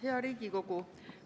Hea Riigikogu!